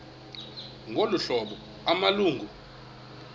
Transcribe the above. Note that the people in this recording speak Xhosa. ngolu hlobo amalungu